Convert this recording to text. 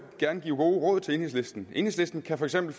gerne give gode råd til enhedslisten enhedslisten kan for eksempel